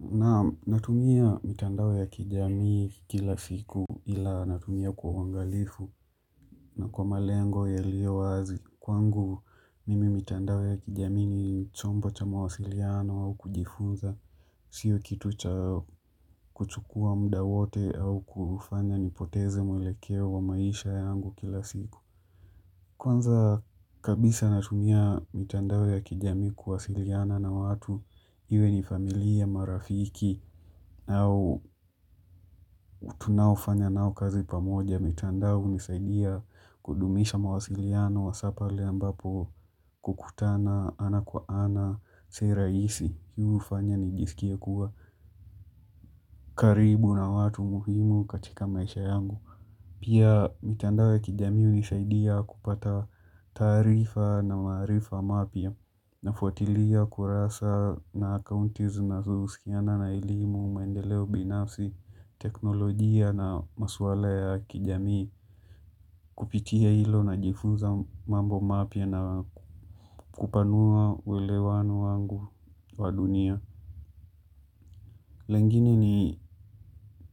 Naamu, natumia mitandao ya kijamii kila siku ila natumia kwa uwangalifu na kwa malengo yalio wazi. Kwangu, mimi mitandao ya kijamii ni chombo cha mawasiliano au kujifunza, siyo kitu cha kuchukua muda wote au kufanya nipoteze mwelekeo wa maisha yangu kila siku. Kwanza kabisa natumia mitandao ya kijamii kuwasiliana na watu iwe ni familia marafiki au tunaifanya nao kazi pamoja. Mitandao hunisaidia kudumisha mawasiliano hasapale ambapo kukutana ana kwa ana si rahisi. Hii hufanya nijisikie kuwa karibu na watu muhimu katika maisha yangu. Pia mitandao ya kijamii hunisaidia kupata taarifa na maarifa mapya nafuatilia kurasa na akaunti zinazohusiana na elimu, maendeleo binafsi, teknolojia na maswala ya kijamii. Kupitia ilo najifunza mambo mapya na kupanua uelewano wangu wa dunia. Lingine ni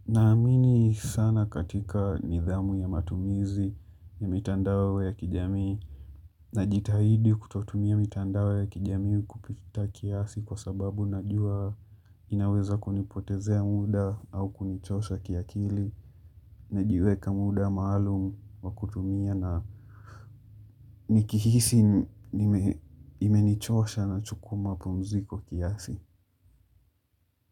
naamini sana katika nidhamu ya matumizi ya mitandao ya kijamii na jitahidi kutotumia mitandao ya kijamii kupita kiasi kwa sababu na jua inaweza kunipotezea muda au kunichosha kiakili na jiweka muda maalum wa kutumia na nikihisi imenichosha nachukuwa mapumziko kiasi.